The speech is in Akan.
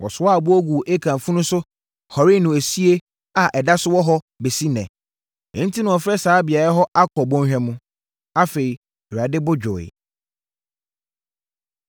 Wɔsoaa aboɔ guu Akan funu so hɔree no esie a ɛda so wɔ hɔ bɛsi ɛnnɛ. Enti, na wɔafrɛ saa beaeɛ hɔ Akɔr Bɔnhwa no. Afei, Awurade bo dwoeɛ.